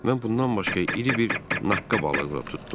Mən bundan başqa iri bir naqqa balığı da tutdum.